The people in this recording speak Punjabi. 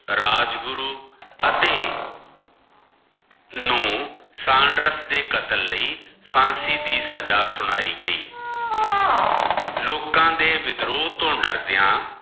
ਰਾਜਗੁਰੂ ਅਤੇ ਨੂੰ ਸਾਂਡਰਸ ਦੇ ਕਤਲ ਲਈ ਫਾਂਸੀ ਦੀ ਸਜਾ ਸੁਣਾਇ ਗਈ ਲੋਕਾਂ ਦੇ ਵਿਦ੍ਰੋਹ ਤੋਂ ਡਰਦਿਆਂ।